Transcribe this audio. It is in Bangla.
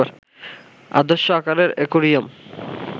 আদর্শ আকারের অ্যাকোয়ারিয়াম